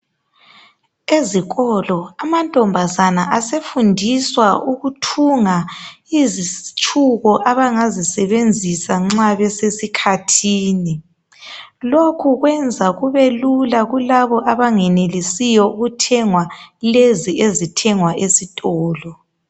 Ezikolo amantombazana asefundiswa ukuthunga izitshubo abangazisebenzisa nxa besesikhathini. Lokhu kwenza kube lula kulabo abangenelisiyo ukuthenge lokhu okuthengwa esitolo.